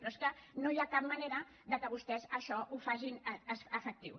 però és que no hi ha cap manera que vostès això ho facin efectiu